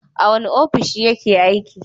A wane ofishi yake aiki?